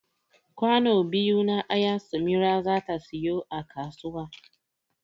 Kwano biyu na aya samira zata siyo a kasuwa